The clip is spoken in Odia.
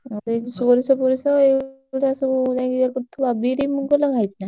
ଓ ତୁ ସେଇ ସୋରିଷ ଫୋରିସ ଏଇଗୁଡା ସବୁ ଯାଇଁକି ଇଏ କରୁଥିବୁ ଆଉ ବିରି, ମୁଗ ଲଗା ହେଇଛି ନା?